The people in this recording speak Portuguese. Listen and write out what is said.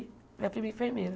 Minha prima é enfermeira.